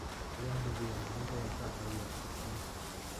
Nidaamka diiwaan gelinta ayaa ka caawiya qorsheynta.